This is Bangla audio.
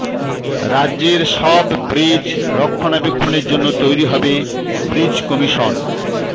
রাজ্যের সব ব্রিজ রক্ষণাবেক্ষণের জন্য তৈরি হবে ব্রিজ কমিশন